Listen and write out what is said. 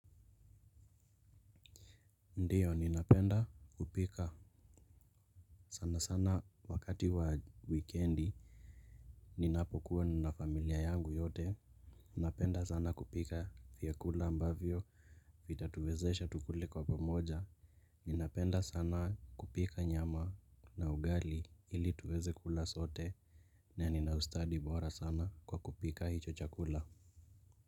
Ndiyo, ninapenda kupika, sana sana wakati wa wikiendi. Ninapokuwa na familia yangu yote ninapenda sana kupika vyakula ambavyo vitatuwezesha tukule kwa pamoja. Ninapenda sana kupika nyama na ugali ili tuweze kula sote. Naninaustadi bora sana kwa kupika hicho chakula.